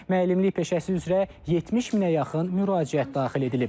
Müəllimlik peşəsi üzrə 70 minə yaxın müraciət daxil edilib.